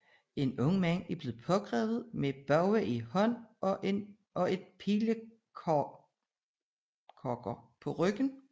En ung mand er blevet pågrebet med en bue i hånden og et pilekogger på ryggen